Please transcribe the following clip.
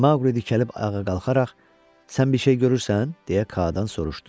Maqli dikəlib ayağa qalxaraq, “Sən bir şey görürsən?” deyə Kaadan soruşdu.